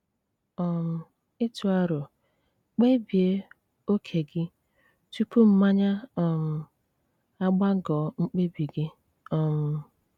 um Ị̀tụ aro: Kpébíé óké gí túpù mmányá um ágbàgọ̀ mkpebi gị́ um